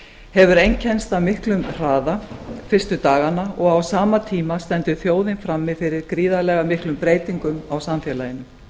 hefur einkennst af miklum hraða fyrstu dagana og á sama tíma stendur þjóðin frammi fyrir gríðarlega miklum breytingum á samfélaginu